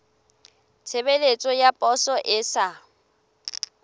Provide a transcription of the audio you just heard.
tshebeletso ya poso e sa